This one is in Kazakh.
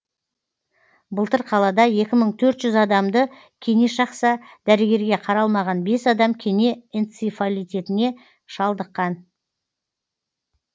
былтыр қалада екі мың төртжүз адамды кене шақса дәрігерге қаралмаған бес адам кене энцифалитіне шалдыққан